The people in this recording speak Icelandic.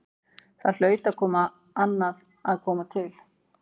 Þar hlaut annað að koma til.